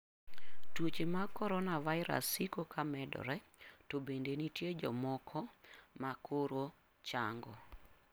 Tuoche mag coronavirus siko ka medore, to bende nitie jomoko ma koro chango.